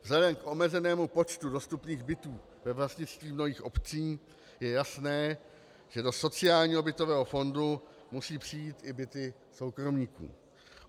Vzhledem k omezenému počtu dostupných bytů ve vlastnictví mnohých obcí je jasné, že do sociálního bytového fondu musí přijít i byty soukromníků.